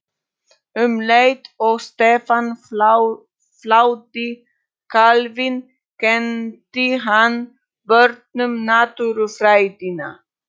Um leið og Stefán fláði kálfinn kenndi hann börnunum Náttúrufræðina.